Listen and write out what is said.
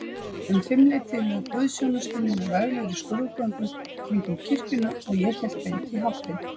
Um fimmleytið lauk guðsþjónustunni með veglegri skrúðgöngu kringum kirkjuna, og ég hélt beint í háttinn.